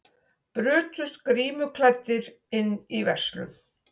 Brutust grímuklæddir inn í verslun